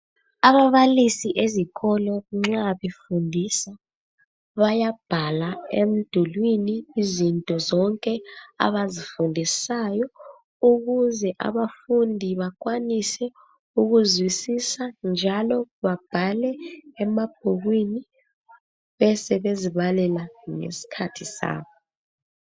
Ababalisi ezikolo nxa befundisa bayabhala emdulwini izinto zonke abazifundisayo ukuze abafundi bakwanise ukuzwisisa njalo babhale emabhukwini besebezibalela ngesikhathi sabo